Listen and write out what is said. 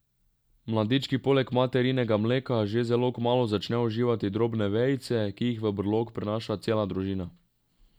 Mladički poleg materinega mleka že zelo kmalu začnejo uživati drobne vejice, ki jih v brlog prinaša cela družina.